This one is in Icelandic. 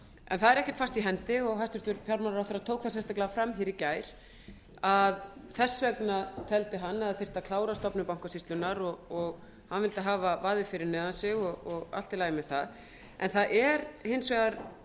en það er ekkert fast í hendi og hæstvirtur fjármálaráðherra tók það sérstaklega fram í gær að þess vegna teldi hann að það þyrfti að klára stofnun bankasýslunnar og hann vildi hafa vaðið fyrir neðan sig og allt í lagi með það en það er hins vegar